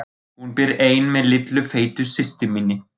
Hún býr ein með litlu feitu systur minni.